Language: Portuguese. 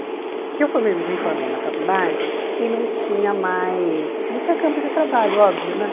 Porque eu formei me formei na faculdade e não tinha mais, não tinha campo de trabalho, óbvio, né?